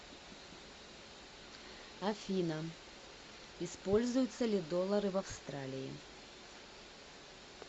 афина используются ли доллары в австралии